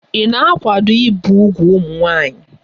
Ị na-akwado ibi úgwù ụmụ nwanyị?